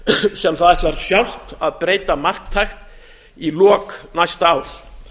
sem það ætlar sjálft að breyta marktækt í lok næsta árs